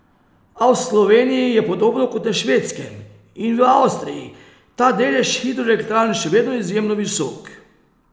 A v Sloveniji je podobno kot na Švedskem in v Avstriji ta delež hidroelektrarn še vedno izjemno visok.